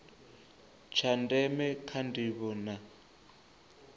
tsha ndeme kha ndivho na